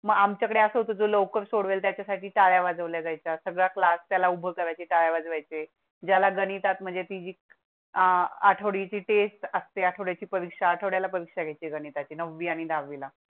मग आमच्याकडे असा होतो लवकर सोडवेल त्याच्या साठी टाळ्या वाजवल्या जाय चा सगळा क्लास त्याला उभे करायचे टाळ्या वजवायेचे. ज्याला गणितात म्हणजे पीक आठवडी टेस्ट असते. आठवड्या ची परीक्षा आठवड्या ला पक्षाचे गणिता ची नववी आणि दहा वी ला